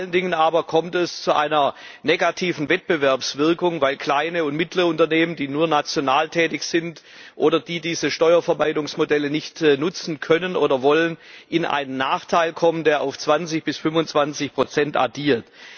Vor allen Dingen aber kommt es zu einer negativen Wettbewerbswirkung weil kleine und mittlere Unternehmen, die nur national tätig sind oder die diese Steuerverwaltungsmodelle nicht nutzen können oder wollen, Nachteile haben, die sich auf 20 bis 25 addieren.